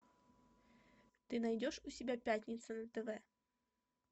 ты найдешь у себя пятница на тв